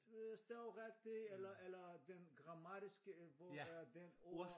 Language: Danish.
Øh stave rigtig eller eller den grammatiske hvor er den ord